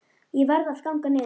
Ég varð að ganga niður